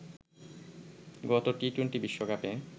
গত টি-টোয়েন্টি বিশ্বকাপে